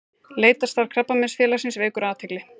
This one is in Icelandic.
Leitarstarf Krabbameinsfélagsins vekur athygli